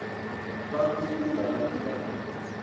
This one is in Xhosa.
ba kho ungabalibali